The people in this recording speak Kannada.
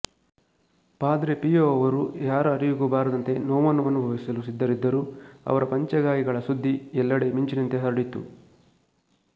ಪಾದ್ರೆ ಪಿಯೊ ಅವರು ಯಾರ ಅರಿವಿಗೂ ಬಾರದಂತೆ ನೋವನ್ನು ಅನುಭವಿಸಲು ಸಿದ್ಧರಿದ್ದರೂ ಅವರ ಪಂಚಗಾಯಗಳ ಸುದ್ದಿ ಎಲ್ಲೆಡೆ ಮಿಂಚಿನಂತೆ ಹರಡಿತು